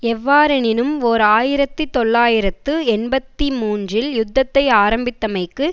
எவ்வாறெனினும் ஓர் ஆயிரத்தி தொள்ளாயிரத்து எண்பத்தி மூன்றில் யுத்தத்தை ஆரம்பித்தமைக்கு